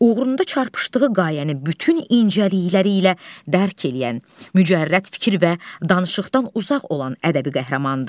uğrunda çarpışdığı qayəni bütün incəlikləri ilə dərk edən, mücərrəd fikir və danışıqdan uzaq olan ədəbi qəhrəmandır.